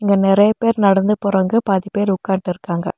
இங்க நெறைய பேர் நடந்து போறாங்க பாதி பேர் உக்கான்ட்டுருக்காங்க.